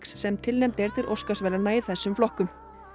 sem tilnefnd er til Óskarsverðlauna í þessum flokkum